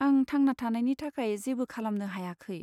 आं थांना थानायनि थाखाय जेबो खालामनो हायाखै।